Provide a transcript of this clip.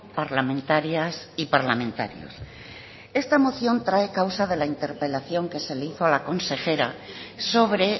parlamentarias y parlamentarios esta moción trae causa de la interpelación que se le hizo a la consejera sobre